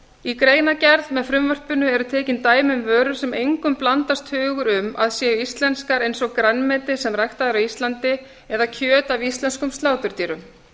í greinargerð með frumvarpinu eru tekin dæmi um vörur sem engum blandast hugur um að séu íslenskar eins og grænmeti sem ræktað er á íslandi eða kjöt af íslenskum sláturdýrum